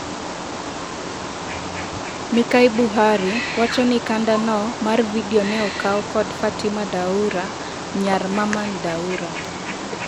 Mikai Buhari wachoni kanda no mar vidio neokau kod Fatima Daura, nyar Mamman Daura.